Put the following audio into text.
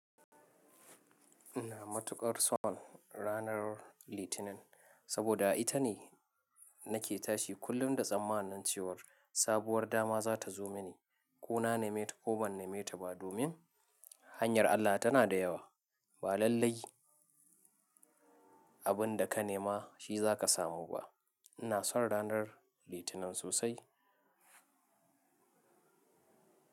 Ina matukar son ranar Litinin, saboda ita ne nake tashi kullum da tsammanin cewar sabuwar dama za ta zo mini. Ko na nema ta ko ban nema ta ba, domin, hanyar Allah tana da yawa. Ba lallai, abin da ka nema shi za ka samu ba. Ina son ranar Litinin sosai.